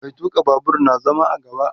Mai tuka Babur na zama a gaba